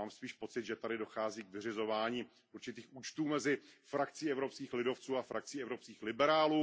Mám spíš pocit, že tady dochází k vyřizování určitých účtů mezi frakcí evropských lidovců a frakcí evropských liberálů.